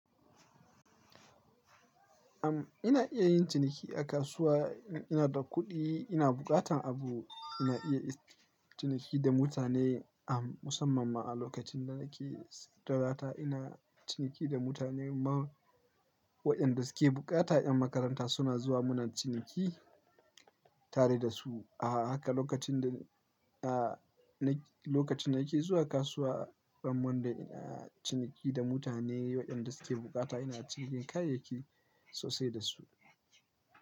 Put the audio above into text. Am, ina iya yin ciniki a kasuwa. Ina da kuɗi, ina buƙatan abu, ina iya ciniki da mutane, am, musamman ma a lokacin da nake satalata. Ina ciniki da mutane mah waƴanda suke buƙata. 'Yan makaranta suna zuwa muna ciniki tare da su. A haka lokacin da, a, na lokacin da nake zuwa kasuwa, ran Monday ina ciniki da mutane waɗanda suke bukata, ina cikin kayayyaki sosai da su.